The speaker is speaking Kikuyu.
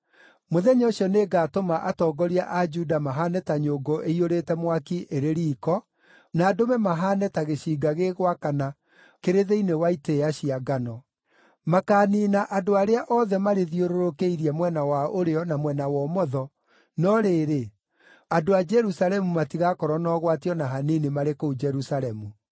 “Mũthenya ũcio nĩngatũma atongoria a Juda mahaane ta nyũngũ ĩiyũrĩte mwaki ĩrĩ riiko, na ndũme mahaane ta gĩcinga gĩgwakana kĩrĩ thĩinĩ wa itĩĩa cia ngano. Makaaniina andũ arĩa othe marĩthiũrũrũkĩirie mwena wa ũrĩo na mwena wa ũmotho, no rĩrĩ, andũ a Jerusalemu matigaakorwo na ũgwati o na hanini marĩ kũu Jerusalemu.